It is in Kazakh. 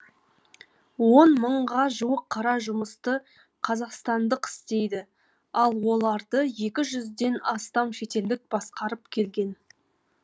он мыңға жуық қара жұмысты қазақстандық істейді ал оларды екі жүзден астам шетелдік басқарып келген